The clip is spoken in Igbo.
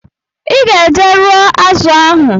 Iga eje rụọ azu ahu